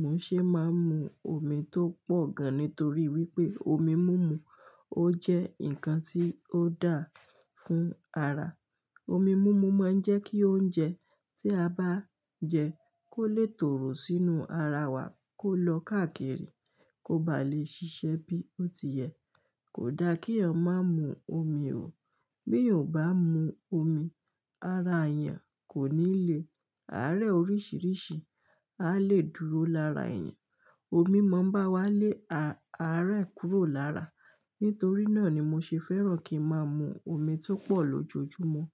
mò ṣe máa ń mu omi tó pọ̀ gan, nítorí wípé omi múmu ó jẹ́ ǹkan tí ó dáa fún ara. Omi múmu máa ń jẹ́ kí oúnjẹ tí a bá jẹ kó lè tòrò sínú ara wa, kó lọ káàkiri, kó ba lè ṣiṣẹ́ bí ó ti yẹ. Kò da kí ọmọ má mu omi o. Bí ọmọ bá mu omi, ara èèyàn kò ní le, àárẹ̀ oríṣiríṣi á lè dúró lára èèyàn. Omi mọ́ bá wá lé àárẹ̀ kúrò lára. Nítorí náà ni mo ṣe fẹ́ràn kí n máa mu omi tó pọ̀ lójoojúmọ́.